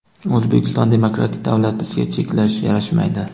O‘zbekiston demokratik davlat bizga cheklash yarashmaydi.